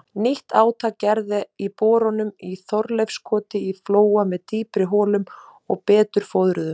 Nýtt átak gert í borunum í Þorleifskoti í Flóa með dýpri holum og betur fóðruðum.